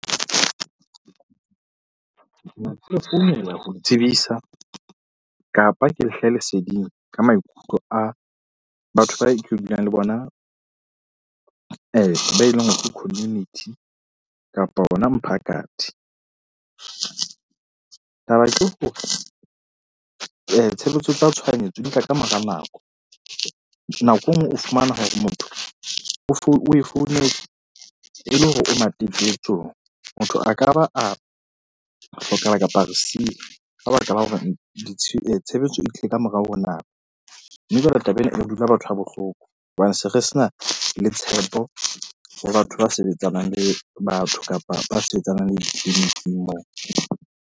Founela ho tsebisa kapa ke le hlahe leseding ka maikutlo a batho bao ke dulang le bona be eleng hore ke community kapa hona mphakathi. Taba ke hore tshebetso tsa tshohanyetso di tla ka mora nako. Nako e nngwe o fumane hore motho o o e founetse e le hore o matetetsong. Motho a ka ba a hlokahala kapa a re siya ka baka la hore tshebetso e tlile ka morao ho nako. Mme jwale taba ena, e dula batho ha bohloko hobane se re se na le tshepo ho batho ba sebetsanang le batho kapa ba sebetsanang le di-clinic-ing moo.